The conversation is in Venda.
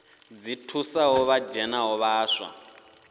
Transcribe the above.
dzi thusaho vha dzhenaho vhaswa